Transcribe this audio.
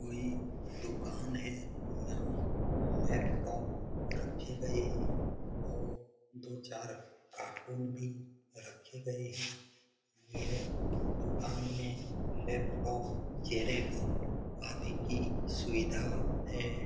कोई दुकान है यहाँ लैपटॉप रखें गए हैं और दो चार कार्टून भी रखे गए हैं यह दुकान में लैपटॉप जिराॅक्स आदि की सुविधा है।